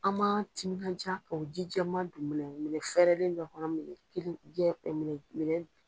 An ma timinandiya ka o ji jɛman don minɛ minɛ fɛɛrɛlen dɔ kɔnɔ